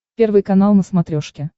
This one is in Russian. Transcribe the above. первый канал на смотрешке